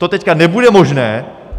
To teď nebude možné.